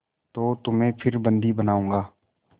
तो तुम्हें फिर बंदी बनाऊँगा